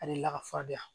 Ale lakafanya